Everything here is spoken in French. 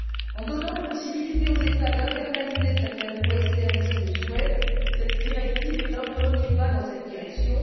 En donnant la possibilité aux États d'internaliser certains coûts externes s'ils le souhaitent, cette directive est un premier pas dans cette direction.